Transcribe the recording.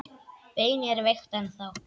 Beinið er veikt ennþá.